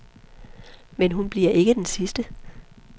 Men hun bliver ikke den sidste.